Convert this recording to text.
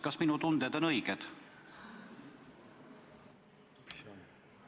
Kas minu tunded on õiged?